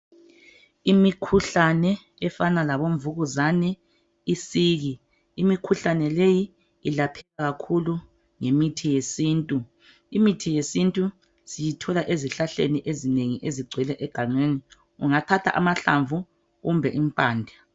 Imikhuhlane efana labomvukuzane, isiki. Imikhuhlane leyi ilapheka kakhulu ngemithi yesintu. Imithi yesintu siyithola ezihlahleni ezinengi ezigcwele egangeni. Ungathatha amahlamvu kumbe impande.